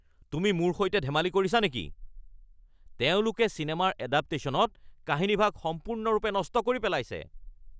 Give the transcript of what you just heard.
তুমি মোৰ সৈতে ধেমালি কৰিছা নেকি? তেওঁলোকে চিনেমাৰ এডাপটেশ্যনত কাহিনীভাগ সম্পূৰ্ণৰূপে নষ্ট কৰি পেলাইছে। (বন্ধু ১)